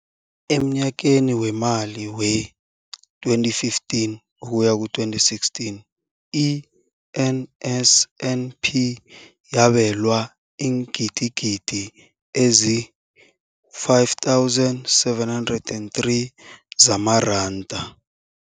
Emnyakeni weemali we-2015 ukuya ku-2016, i-NSNP yabelwa iingidigidi ezi-5 703 zamaranda.